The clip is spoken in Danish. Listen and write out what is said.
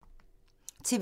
TV 2